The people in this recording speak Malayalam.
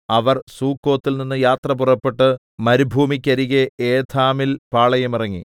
അവർ സുക്കോത്തിൽനിന്ന് യാത്ര പുറപ്പെട്ട് മരുഭൂമിക്കരികെ ഏഥാമിൽ പാളയമിറങ്ങി